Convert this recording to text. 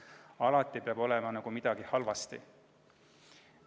Alati peab olema midagi halvasti.